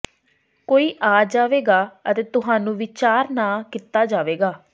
ਕੋਈ ਆ ਜਾਵੇਗਾ ਅਤੇ ਤੁਹਾਨੂੰ ਵਿਚਾਰ ਨਾ ਕੀਤਾ ਜਾਵੇਗਾ